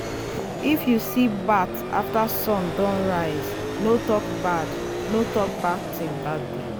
if you see bat after sun don rise no talk bad no talk bad thing that day.